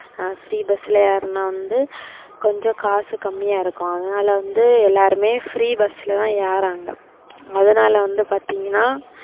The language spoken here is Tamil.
free bus ல ஏறுனா வந்து கொஞ்சம் காசு கம்மியா இருக்கு அதுனால வந்து எல்லாருமே free bus ல தான் ஏர்றாங்க. அதுனால வந்து பாத்திங்கனா,